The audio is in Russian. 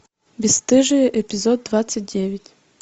бесстыжие эпизод двадцать девять